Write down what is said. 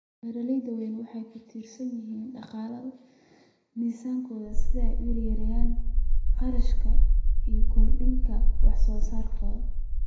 Beeraha waaweyni waxay ku tiirsan yihiin dhaqaalaha miisaankooda si ay u yareeyaan kharashka una kordhiyaan wax soo saarka.